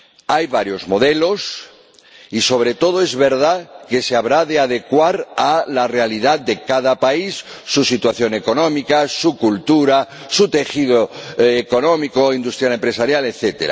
Hay varios modelos y, sobre todo, es verdad que se habrá de adecuar a la realidad de cada país, su situación económica, su cultura, su tejido económico, industrial, empresarial, etc.